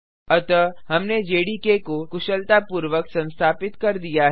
अतः हमने जेडीके को कुशलतापूर्वक संस्थापित कर दिया है